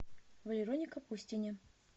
валероне капустине